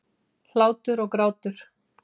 Hlátur og grátur.